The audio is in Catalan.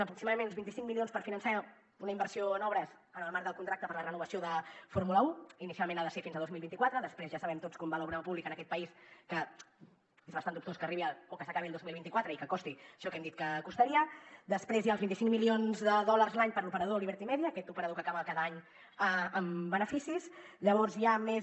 aproximadament uns vint cinc milions per finançar una inversió en obres en el marc del contracte per a la renovació de fórmula un inicialment ha de ser fins a dos mil vint quatre després ja sabem tots com va l’obra pública en aquest país que és bastant dubtós que s’acabi el dos mil vint quatre i que costi això que hem dit que costaria després hi ha els vint cinc milions de dòlars l’any per a l’operador liberty media aquest operador que acaba cada any amb beneficis llavors hi ha més